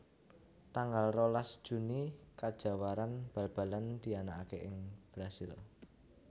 Tanggal rolas juni Kajawaran Bal balan dianakaké ing Brazil